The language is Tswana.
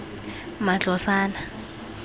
matlosana